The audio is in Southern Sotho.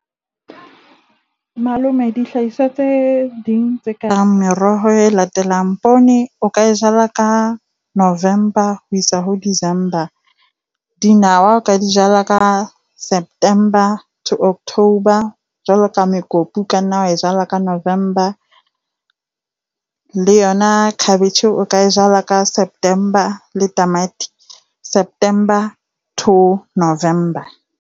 Malome, dihlahiswa tse ding tse kareng meroho e latelang, poone o ka e jala ka November ho isa ho December. Dinawa, o ka di jala ka September to October. Jwalo ka mokopu o ka nna wa e jala ka November. Le yona cabbage o ka e jala ka September, le tamati September to November.